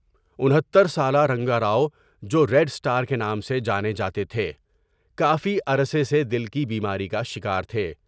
انہتر سالہ رنگاراؤ جوریڈاسٹار کے نام سے جانے جاتے تھے کافی عرصے سے دل کی بیماری کا شکار تھے ۔